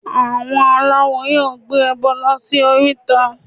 Àwọn aláwo yóò gbé ẹbọ lọ sí oríta